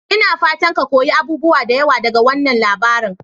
Ina fatan ka koyi abubuwa da yawa daga wannan labarin?